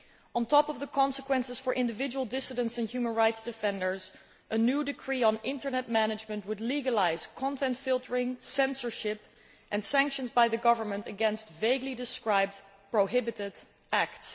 On top of the consequences for individual dissidents and human rights defenders, a new decree on internet management would legalise content filtering, censorship and sanctions by the government against vaguely described prohibited acts'.